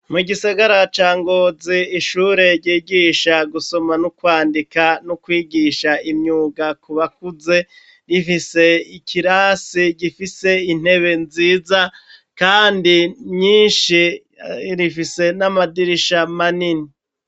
Mu gisagara ca Ngozi, ishure ryigisha gusoma no kwandika, no kwigisha imyuga ku bakuze, rifise ikirasi gifise intebe nziza, kandi nyinshi; rifise n'amadirisha manini.